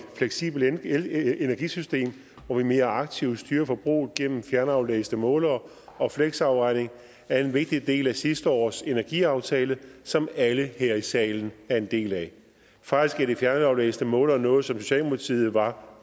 fleksibelt elenergisystem hvor vi mere aktivt styrer forbruget gennem fjernaflæste målere og fleksafregning er en vigtig del af sidste års energiaftale som alle her i salen er en del af faktisk er de fjernaflæste målere noget som socialdemokratiet var